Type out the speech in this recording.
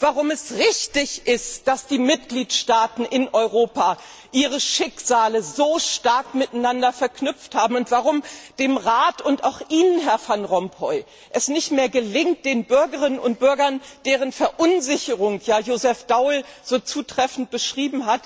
warum es richtig ist, dass die Mitgliedstaaten in Europa ihre Schicksale so stark miteinander verknüpft haben und warum dem Rat und auch Ihnen, Herr Van Rompuy, es nicht mehr gelingt, den Bürgerinnen und Bürgern, deren Verunsicherung Joseph Daul ja so zutreffend beschrieben hat,